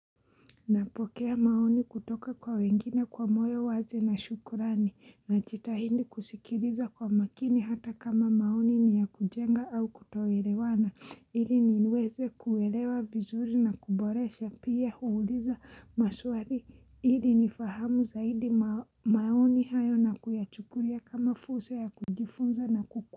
Napokea maoni kutoka kwa wengine kwa moyo uanze na shukurani, najtahidi kusikiliza kwa makini hata kama maoni ni ya kujenga au kutoelewana, ili niweze kuelewa vizuri na kuboresha pia huuliza maswali, ili nifahamu zaidi maoni hayo na kuyachukulia kama fursa ya kujifunza na kuku.